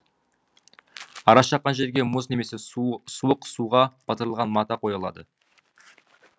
ара шаққан жерге мұз немесе суық суға батырылған мата қойылады